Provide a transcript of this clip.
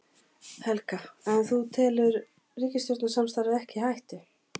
Helga: En þú tekur ríkisstjórnarsamstarfið ekki í hættu?